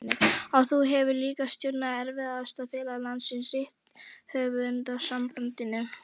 Og þú hefur líka stjórnað erfiðasta félagi landsins, Rithöfundasambandinu.